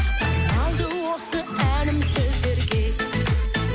арналды осы әнім сіздерге